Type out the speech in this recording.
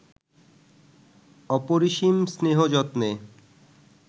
অপরিসীম স্নেহ যত্নে